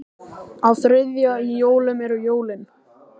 Á þriðja í jólum eru jólin.